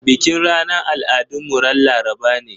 Bikin ranar al'adun mu ran Laraba ne.